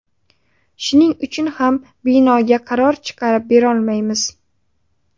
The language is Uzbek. Shuning uchun ham binoga qaror chiqarib berolmayapmiz.